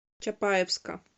чапаевска